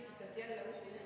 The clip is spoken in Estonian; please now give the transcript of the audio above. Kuulge, mis siin saalis toimub!